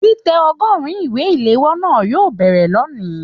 Titẹ ọgọrùn ìwé iléwọ́ náà yóò bẹrẹ lóni.